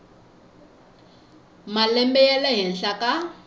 malembe ya le henhla ka